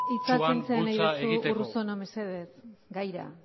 hitza kentzea nahi duzu urruzuno mesedez gaira